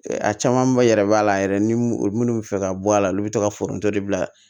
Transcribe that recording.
A caman ba yɛrɛ b'a la yɛrɛ ni minnu bɛ fɛ ka bɔ a la olu bɛ to ka foronto de bila